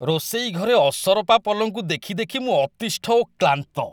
ରୋଷେଇ ଘରେ ଅସରପା ପଲଙ୍କୁ ଦେଖି ଦେଖି ମୁଁ ଅତିଷ୍ଠ ଓ କ୍ଳାନ୍ତ।